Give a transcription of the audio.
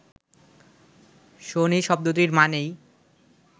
শনি শব্দটির মানেই